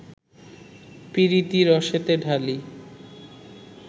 পীরিতি রসেতে ঢালি